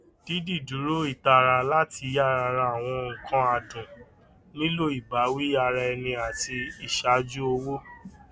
dídìdúró ìtara láti yára rà àwọn nǹkan adùn nílò ìbáwí ara ẹni àti ìṣàjú owó